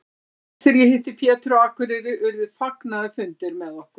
Seinast þegar ég hitti Pétur á Akureyri urðu fagnaðarfundir með okkur.